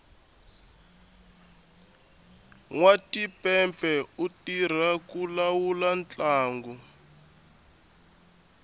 nwatipepe u tirha ku lawula ntlangu